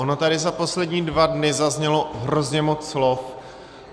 Ono tady za poslední dva dny zaznělo hrozně moc slov.